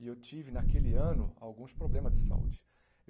E eu tive naquele ano alguns problemas de saúde.